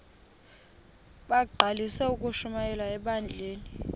bagqalisele ukushumayela ebandleni